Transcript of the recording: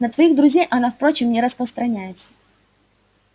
на твоих друзей она впрочем не распространяется